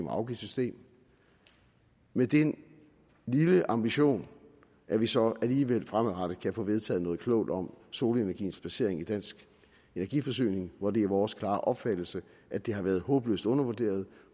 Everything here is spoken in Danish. afgiftssystem med den lille ambition at vi så alligevel fremadrettet kan få vedtaget noget klogt om solenergiens placering i dansk energiforsyning hvor det er vores klare opfattelse at det har været håbløst undervurderet og